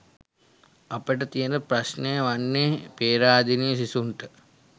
අපට තියන ප්‍රශ්නය වන්නේ පේරාදෙණිය සිසුන්ට